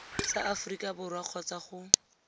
sa aforika borwa kgotsa go